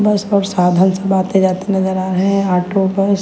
बस और साधन सब आते जाते नजर आ रहे हैं ऑटो बस।